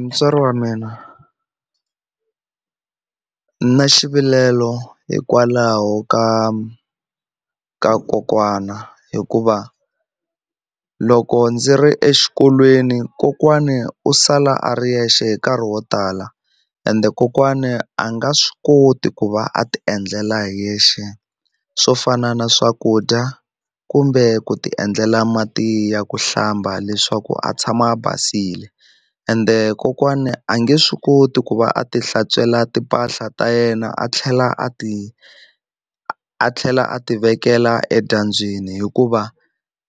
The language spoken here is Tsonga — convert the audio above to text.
Mutswari wa mina ni na xivilelo hikwalaho ka ka kokwana hikuva loko ndzi ri exikolweni kokwani u sala a ri yexe hi nkarhi wo tala ende kokwani a nga swi koti ku va a ti endlela hi yexe swo fana na swakudya kumbe ku ti endlela mati ya ku hlamba leswaku a tshama a basile ende kokwani a nge swi koti ku va a ti hlantswela timpahla ta yena a tlhela a ti a a tlhela a ti vekela edyambyini hikuva